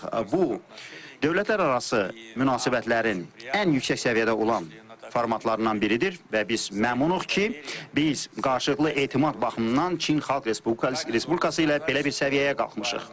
Bu dövlətlərarası münasibətlərin ən yüksək səviyyədə olan formatlarından biridir və biz məmnunuq ki, biz qarşılıqlı etimad baxımından Çin Xalq Respublikası ilə belə bir səviyyəyə qalxmışıq.